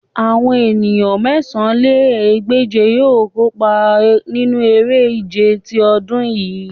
Awọn eniyan mẹ̀sán lé ní ẹgbẹ́je yoo kopa ninu ere-ije ti ọdun yii